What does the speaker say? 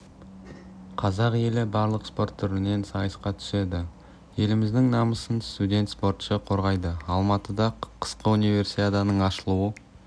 қазақ елі барлық спорт түрінен сайысқа түседі еліміздің намысын студент спортшы қорғайды алматыда қысқы универсиаданың ашылу